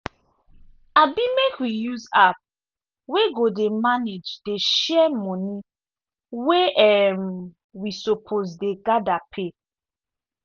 abi make we use app wey go dey manage dey share money wey um wi suppose dey gather pay.